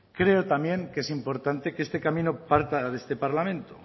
creo también que es importante que este camino parta de este parlamento